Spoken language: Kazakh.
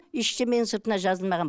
ештеңенің сыртына жазылмаған